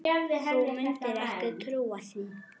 Þú mundir ekki trúa því.